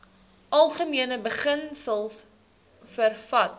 algemene beginsels vervat